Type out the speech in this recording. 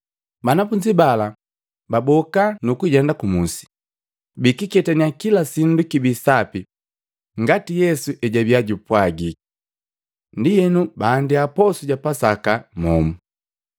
Banafunzi bala baboka, nukujenda kumusi, bukuketanya kila sindu kibii sapi ngati Yesu ejwabia jaapwagi. Ndienu baandia posu ja Pasaka momu.